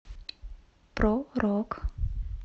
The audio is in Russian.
про рок